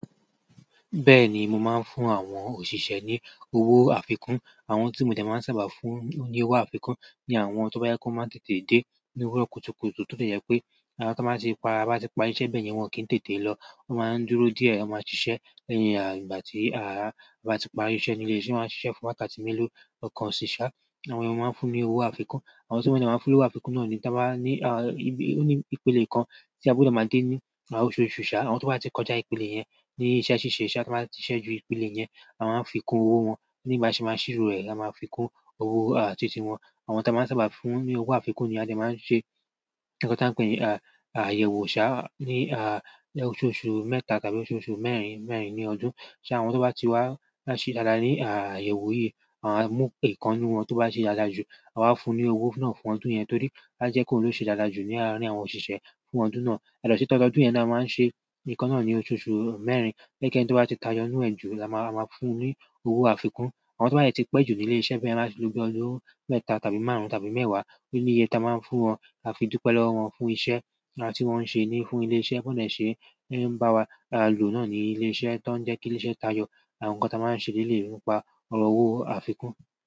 Bẹ́ẹ̀ni, mo máa ń fún àwọn òṣìṣẹ́ ní owó àfikún. Àwọn tí mo dẹ́ máa ń sábà fún ní owó àfikún ni àwọn tó bá jẹ pe wọ́n máa n tètè dé ní òwúrọ̀ kùtùkùtù tó jẹ́ pé bí a bá ti parí iṣẹ́ bẹ́ẹ̀ yẹn wọ́n kì n tètè lọ. Mo maa n dúró diẹ, a ma ṣiṣẹ anyhow ìgbà ti a ba ti parí iṣẹ́ ni ile iṣẹ́. A maa n ṣiṣẹ fún bi wákàtí melo kan ṣa. Àwọn eya máa ń fún mi owó àfikún. Àwọn tí mo dẹ́ máa ń fún ní owó àfikún náà ni táa ba ní, à, ní ìpele kan tí a gbọ́dọ̀ máa dé ní oṣooṣu ṣá. Àwọn tó bá ti kọjá ìpele yẹn ní iṣẹ́ ṣíṣe iṣẹ́, iṣẹ́ tí wọ́n bá ti ṣíṣe ju ìpele yẹn, a máa fi kún owó wọn. Ní ìgbà tí a máa ṣíro ẹ, a máa fi kún owó, à, títí wọn. Àwọn táa máa ń sábà fún ní owó àfikún ni a dẹ́ máa ń ṣe nǹkan táa ń pè ní, à, àyẹ̀wò ṣá ní, à, oṣooṣù mẹ́ta tàbí oṣooṣù mẹ́rin, mẹ́rin ní ọdún. Ṣo àwọn tó bá ti wá ṣe dáadáa ní, à, àyẹ̀wò yìí, à, mú ikan nínú wọ́n tó bá ṣe dáadáa jù, a wá fún ní owó náà fún ọdún yẹn torí bá jẹ́ kó ló ṣe dáadáa jù láàárín àwọn òṣìṣẹ́ fún ọdún náà. Yàtọ̀ sì ti ọdọọdún yẹn náà máa ń ṣe nǹkan náà ní oṣooṣù mẹ́rin. Ẹnikẹni tó bá ti tayọ nú ẹ ju, oun la máa fún ní owó àfikún. Àwọn tó bá dẹ ti pẹ́ jù ní ilé iṣẹ́ bí wọn bá ti lo bi ọdún mẹ́ta tàbí márùn-ún tàbí mẹ́wàá, o ni iye ta máa ń fún wọn kafi dupẹ lọwọ wọn fún iṣẹ́ láti wọ́n ṣe ní fún ilé iṣẹ́ bó ní ṣe ń bá wa lò náà ní ilé iṣẹ́ tó ń jẹ́ kí ilé iṣẹ́ tayọ àwọn nǹkan táa máa ń ṣe lelei nípa ọ̀rọ̀ owó àfikún.